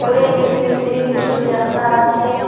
উপরে ইংরেজিয়ে কিছু লেখা আছে।